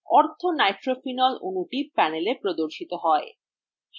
orthonitrophenol অণুটি panelএ প্রদর্শিত হয়